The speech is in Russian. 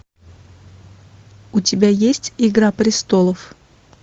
у тебя есть игра престолов